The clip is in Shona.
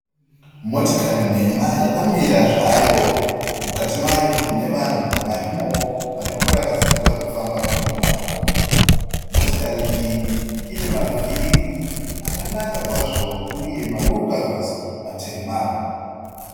Motikari nhema yakamira zvayo, mukati mayo mune vanhu varimowo varikuratidza kuti vari kufamba rwendo rwavo, motikari iyi ine mavhiri akanaka kwazvo uye mawiri kavhasi matema.